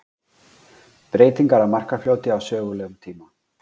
Breytingar á Markarfljóti á sögulegum tíma.